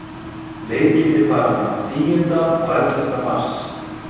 Leikirnir fara fram tíunda og ellefta mars.